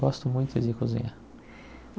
Gosto muito de cozinhar.